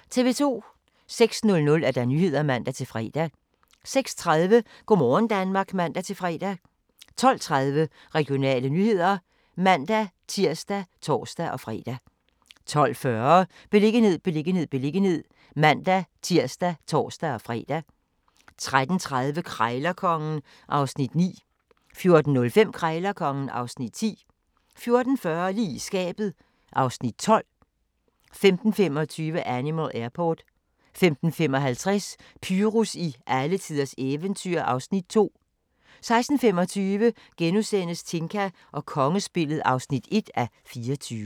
06:00: Nyhederne (man-fre) 06:30: Go' morgen Danmark (man-fre) 12:30: Regionale nyheder (man-tir og tor-fre) 12:40: Beliggenhed, beliggenhed, beliggenhed (man-tir og tor-fre) 13:30: Krejlerkongen (Afs. 9) 14:05: Krejlerkongen (Afs. 10) 14:40: Lige i skabet (Afs. 12) 15:25: Animal Airport 15:55: Pyrus i alletiders eventyr (Afs. 2) 16:25: Tinka og kongespillet (1:24)*